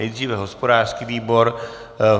Nejdříve hospodářský výbor.